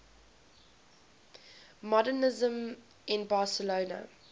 modernisme in barcelona